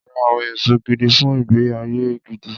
Ra àwọn èso gidi fun ìgbé-ayé gidi.